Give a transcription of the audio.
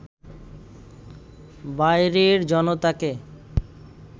বাইরের জনতাকে